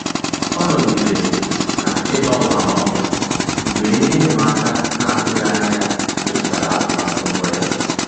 Ọ́ nọ́gídèrè n’ị́gbànwé ágbànwé mgbe ihe ịma aka na-atụghị anya ya métụ́tárà atụmatụ mbụ ya.